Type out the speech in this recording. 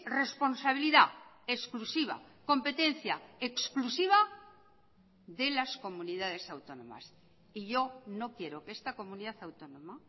responsabilidad exclusiva competencia exclusiva de las comunidades autónomas y yo no quiero que esta comunidad autónoma